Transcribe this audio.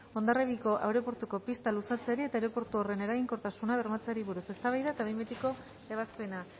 hondarribiko aireportuko pista luzatzeari eta aireportu horren eraginkortasuna bermatzeari buruz eztabaida eta behin betiko ebazpena